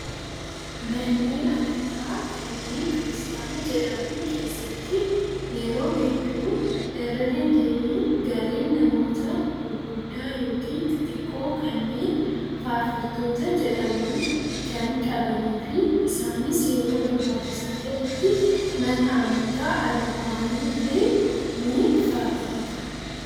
Manneen amantaa kanneen kiristaana jedhaman keessatti yeroo hedduu irra deddeebiin garee namoota gurguddaa yookiin xixiqqoo kanneen faarfattoota jedhaman kan qabanii fi Isaanis yeroo barbaachisaa ta'etti mana amantaa ala bahanii illee ni faarfatu.